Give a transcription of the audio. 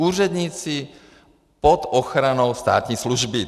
Úředníci pod ochranou státní služby.